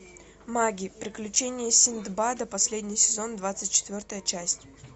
маги приключения синдбада последний сезон двадцать четвертая часть